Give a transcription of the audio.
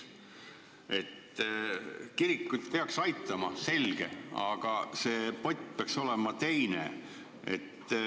Kirikuid peaks aitama, see on selge, aga rahapott peaks olema teine.